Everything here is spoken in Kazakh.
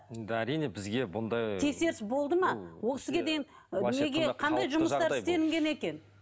да әрине бізге бұндай тексеріс болды ма ол кісіге дейін неге қандай жұмыстар істелінген екен